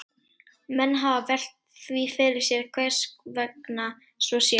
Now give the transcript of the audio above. Menn hafa velt því fyrir sér hvers vegna svo sé.